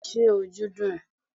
ṣe ojú dún e?